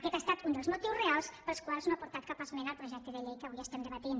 aquest estat un dels motius reals pels quals no ha aportat cap esmena al projecte de llei que avui estem debatent